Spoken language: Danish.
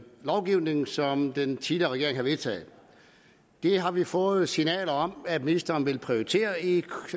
lovgivning som den tidligere regering havde vedtaget det har vi fået signaler om at ministeren vil prioritere i